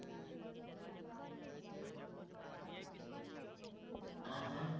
અ હા